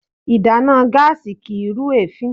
Ìdáná gáàsì kìí rú èéfín.